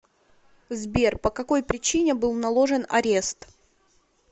сбер по какой причине был наложен арест